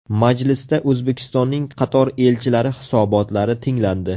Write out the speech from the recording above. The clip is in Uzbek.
Majlisda O‘zbekistonning qator elchilari hisobotlari tinglandi.